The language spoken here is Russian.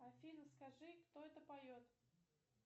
афина скажи кто это поет